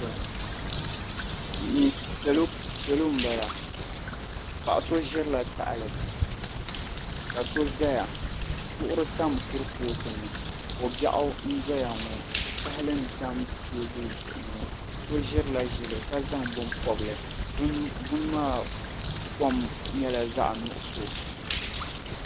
Salo m-bala. Paɣa so ʒirila tahali ka so zaya. Duɣiri tam kurifootu ni. Ko' biɛɣu n-dɔya ŋɔ tahali n-tam teebuli zuɣu ŋɔ. So ʒirila ʒili ka zaŋ bini pɔbi li bini maa kom nyɛla zaɣ' nuɣiso.